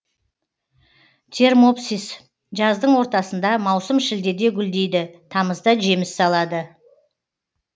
термопсис жаздың ортасында маусым шілдеде гүлдейді тамызда жеміс салады